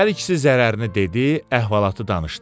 Hər ikisi zərərini dedi, əhvalatı danışdı.